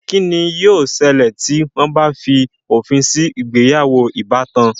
Kí ni yóò sẹlẹ̀ tí wọ́n bá fi òfin sí ìgbéyàwó ìbátan?